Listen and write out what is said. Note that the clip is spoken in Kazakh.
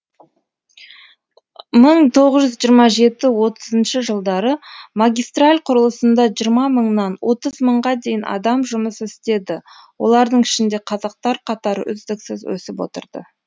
мың тоғыз жүз жиырма жеті отызыншы жылдары магистраль құрылысында жиырма мыңнан отыз мыңға дейін адам жұмыс істеді олардың ішінде қазақтар қатары үздіксіз өсіп отырды